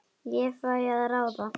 Ég fæ að ráða.